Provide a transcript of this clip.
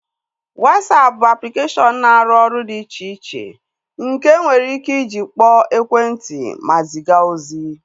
Wasapụ bụ aplikeshọn na-arụ ọrụ dị iche iche nke enwere ike iji kpọọ ekwentị ma ziga ozi